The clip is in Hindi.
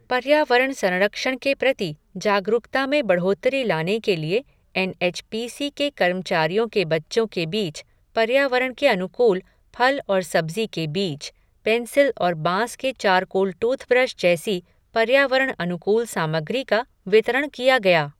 पर्यावरण संरक्षण के प्रति जागरूकता में बढ़ोतरी लाने के लिए एन एच पी सी के कर्मचारियों के बच्चों के बीच पर्यावरण के अनुकूल फल और सब्ज़ी के बीज, पेंसिल और बाँस के चारकोल टूथब्रश जैसी पर्यावरण अनुकूल सामग्री का वितरण किया गया।